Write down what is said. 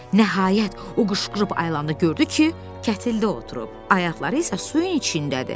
Nəhayət, o qışqırıb ayılan da gördü ki, kətildə oturub, ayaqları isə suyun içindədir.